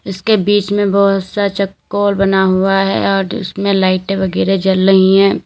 इसके बीच में बहोत सा चकोर बना हुआ है और इसमें लाइटें वगैरा जल रही है।